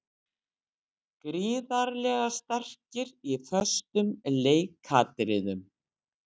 Gríðarlega sterkir í föstum leikatriðum.